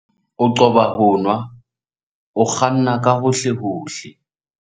O qoba ho nwa o kganna ka hohlehohle.